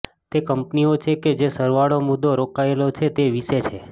તે કંપનીઓ છે કે જે સરવાળો મુદ્દો રોકાયેલા છે તે વિશે છે